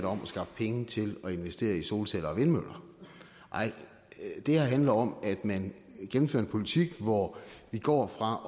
om at skaffe penge til at investere i solceller og vindmøller nej det her handler om at man gennemfører en politik hvor vi går fra